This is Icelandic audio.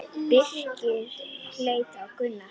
Birkir leit á Gunnar.